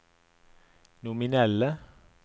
nominelle